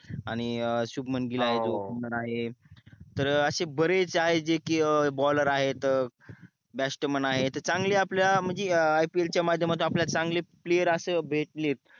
आणि सुमन गिल आहे हो जो opener तर असे बरेच आहे जे की bowler आहेत batman आहे तर चांगल्या आपल्या म्हणजे IPL च्या मध्यमातून आपल्या ला चांगले player अस भेटले